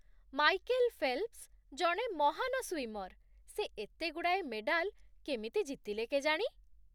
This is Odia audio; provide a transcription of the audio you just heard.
ମାଇକେଲ ଫେଲ୍ପ୍‌ସ୍ ଜଣେ ମହାନ ସ୍ଵିମର୍ । ସେ ଏତେଗୁଡ଼ାଏ ମେଡାଲ କେମିତି ଜିତିଲେ କେଜାଣି!